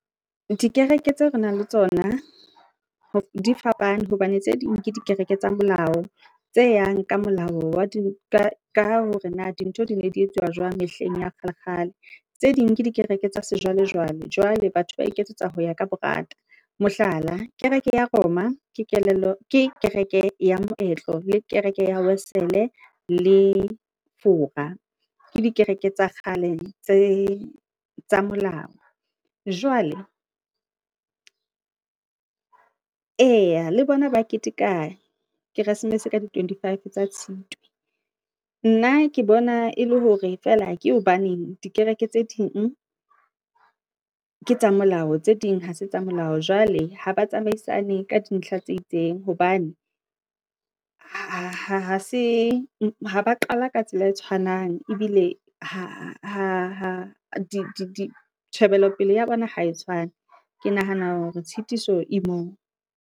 Dikereke tseo re na le tsona di fapane hobane tse ding ke dikereke tsa molao. Tse yang ka molao, ka hore na dintho di ne di etsuwa jwang mehleng ya kgale- kgale. Tse ding ke dikereke tsa sejwalejwale, jwale batho ba iketsetsa ho ya ka bo rata. Mohlala, kereke ya Roma ke kereke ya moetlo le kereke ya Wesele le Fora. Ke dikereke tsa kgale tsa molao. Jwale ee, le bona ba keteka keresemese ka di twenty five tsa Tshitwe. Nna ke bona e le hore feela ke hobaneng dikereke tse ding ke tsa molao, tse ding ha se tsa molao, jwale ha ba tsamaisane ka dintlha tse itseng hobane ha ba qala ka tsela e tshwanang ebile tjhebelopele ya bona ha e tshwane. Ke nahana hore tshitiso e moo.